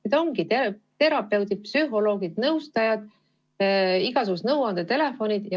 Seda teevadki terapeudid, psühholoogid, nõustajad, igasugused nõuandetelefonid.